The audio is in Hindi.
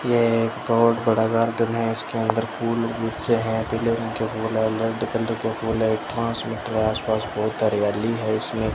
यह एक बहुत बड़ा गार्डन है इसके अंदर फुल बहुत से हैं पीले रंग के फूल हैं रेड कलर के फूल हैं आसपास बहुत हरियाली है इसमें।